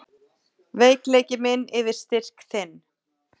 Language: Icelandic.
Veikleiki minn yfir styrk þinn.